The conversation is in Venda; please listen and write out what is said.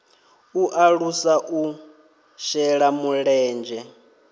u alusa u shela mulenzhe